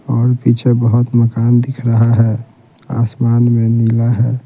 और पीछे बहुत मकान दिख रहा है आसमान में नीला है।